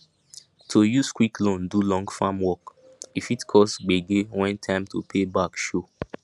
to use quick loan do long farm work e fit cause gbege when time to pay back show